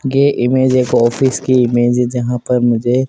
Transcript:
गे image एक office की image है जहां पर मुझे--